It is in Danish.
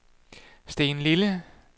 Stenlille